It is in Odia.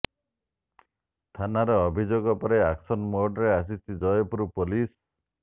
ଥାନାରେ ଅଭିଯୋଗ ପରେ ଆକ୍ସନ ମୋଡରେ ଆସିଛି ଜୟପୁର ପୋଲିସ